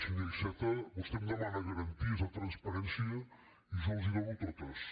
senyor iceta vostè em demana garanties de transparència i jo les hi dono totes